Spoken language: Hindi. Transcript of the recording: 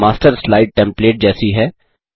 मास्टर स्लाइड टेंप्लेट जैसी है